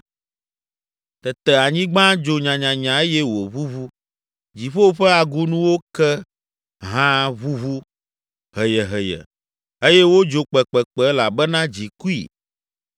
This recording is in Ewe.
Tete anyigba dzo nyanyanya eye wòʋuʋu; dziƒo ƒe agunuwo ke hã ʋuʋu heyeheye eye wodzo kpekpekpe elabena dzi kui.